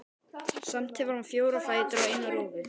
Samt hefur hann fjóra fætur og eina rófu.